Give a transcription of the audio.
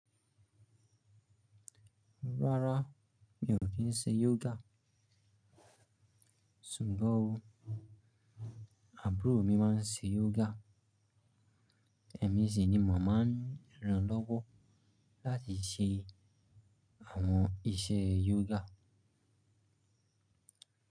Rárá, mi ò kí ń ṣe yoga. Ṣùgbọ́n àbúrò mi máa ń ṣe yoga. Ẹ̀mí sì ni mo máa rán lọ́wọ́ láti ṣe àwọn iṣẹ́ yoga.